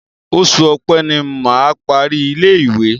Oṣù Ọpẹ́ ni mà á parí ilé-ìwé.